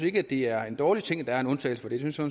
ikke det er en dårlig ting at der er en undtagelse